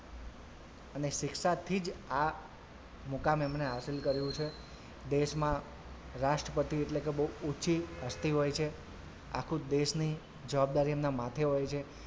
અને શિક્ષાથી જ આ મુકામ એમને હાઝીલ કર્યું છે દેશમાં રાષ્ટ્રપતિ એટલે કે બહુ ઉચ્ચી હસ્તી હોય છે આખું દેશની જવાબદારી એમના માથે હોય છે.